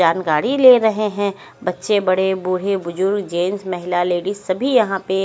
जानकारी ले रहे है बच्चे बड़े बूढ़े बुजुर्ग जेंट्स महिला लेडिस सभी यहां पे--